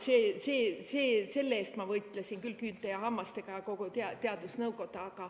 Selle eest ma võitlesin küll küünte ja hammastega, ja võitles kogu teadusnõukoda.